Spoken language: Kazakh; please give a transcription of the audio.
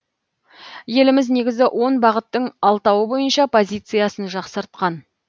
еліміз негізгі он бағыттың алтауы бойынша позициясын жақсартқан